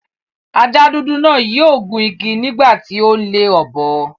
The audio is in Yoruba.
Ajá dúdú náà yio gun igi nígbà ti o n le ọ́bọ